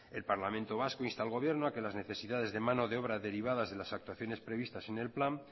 el parlamento vasco insta al gobierno a que las necesidades de mano de obra derivadas de las actuaciones previstas en el plan